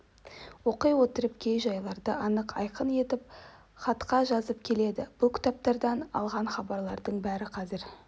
оқи отырып кей жайларды анық айқын етп хатқа жазып келеді бұл кітаптардан алған хабардың бәрі қазір